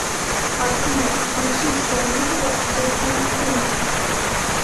афина включи исполнителя зэ тинг тингс